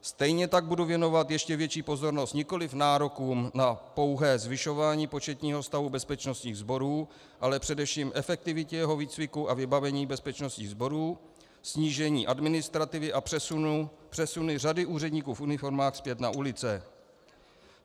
Stejně tak budu věnovat ještě větší pozornost nikoliv nárokům na pouhé zvyšování početního stavu bezpečnostních sborů, ale především efektivitě jeho výcviku a vybavení bezpečnostních sborů, snížení administrativy a přesunu řady úředníků v uniformách zpět na ulice.